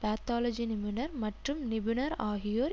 pathology நிபுணர் மற்றும் நிபுணர் ஆகியோர்